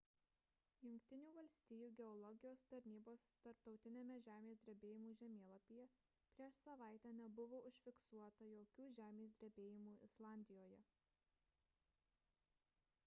jungtinių valstijų geologijos tarnybos tarptautiniame žemės drebėjimų žemėlapyje prieš savaitę nebuvo užfiksuota jokių žemės drebėjimų islandijoje